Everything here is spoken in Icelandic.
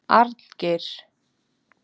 Arngeir